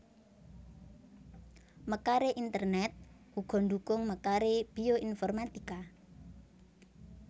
Mekaré internèt uga ndhukung mekaré bioinformatika